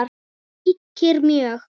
ríkir mjög.